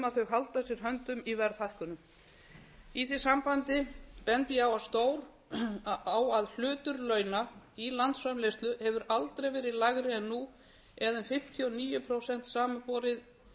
að þau haldi að sér höndum í verðhækkunum í því sambandi bendi ég á að hlutur launa í landsframleiðslu hefur aldrei verið lægri en nú eða um fimmtíu og níu prósent samanborið